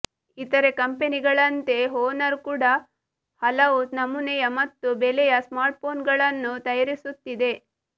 ಇತರೆ ಕಂಪೆನಿಗಳಂತೆ ಹೋನರ್ ಕೂಡ ಹಲವು ನಮೂನೆಯ ಮತ್ತು ಬೆಲೆಯ ಸ್ಮಾರ್ಟ್ಫೋನ್ಗಳನ್ನು ತಯಾರಿಸುತ್ತಿದೆ